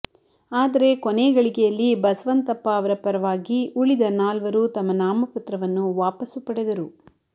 ಆದರೆ ಕೊನೆ ಗಳಿಗೆಯಲ್ಲಿ ಬಸವಂತಪ್ಪ ಅವರ ಪರವಾಗಿ ಉಳಿದ ನಾಲ್ವರು ತಮ್ಮ ನಾಮಪತ್ರವನ್ನು ವಾಪಸ್ಸು ಪಡೆದರು